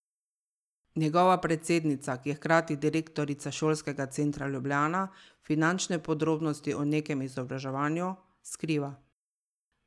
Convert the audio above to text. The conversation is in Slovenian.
Njegova predsednica, ki je hkrati direktorica Šolskega centra Ljubljana, finančne podrobnosti o nekem izobraževanju skriva.